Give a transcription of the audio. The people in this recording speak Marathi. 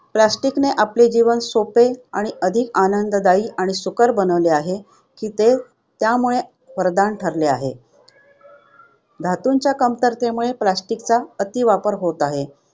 Plastic ने आपले जीवन सोपे आणि अधिक आनंददायी आणि सुकर बनवले आहे, ते आमच्यासाठी वरदान ठरले आहे. धातूंच्या कमतरतेमुळे plastic चा अतिवापर होत आहे.